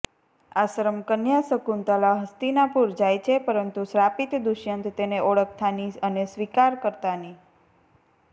આશ્રમ કન્યાશકુંતલા હસ્તીનાપુર જાય છે પરંતુ શ્રાપિત દુષ્યંત તેને ઓળખતા ની અને સ્વીકાર કરતા ની